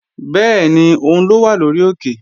Bẹ́ẹ̀ni, òun ló wà lórí òkè